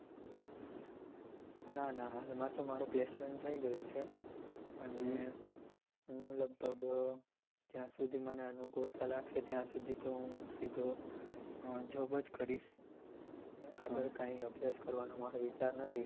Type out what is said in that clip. ના ના હાલમાં તો મારુ placement થઇ ગયું છે અને હું લગભગ જ્યાં સુધી મને અનુકુળતા લાગશે ત્યાં સુધી તો હું સીધો job જ કરીશ આગળ કઈ અભ્યાસ કરવાનો મારો વિચાર નથી